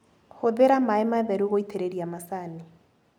Hũthĩra maĩ matheru gũitĩrĩria macani.